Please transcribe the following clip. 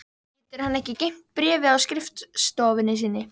Getur hann ekki geymt bréfið á skrifstofunni sinni?